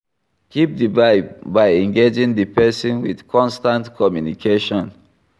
Keep di vibe by engaging di person with constant communication